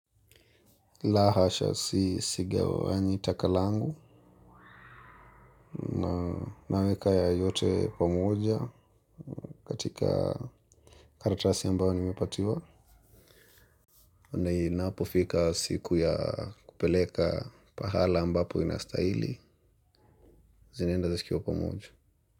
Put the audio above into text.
La hasha si sigawanyi takalangu na naweka ya yote pamoja katika karatasi ambayo nimepatiwa. Na inapo fika siku ya kupeleka pahala ambapo inastahili zinaenda zikiwa pamoja.